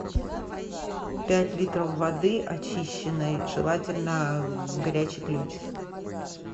пять литров воды очищенной желательно горячий ключ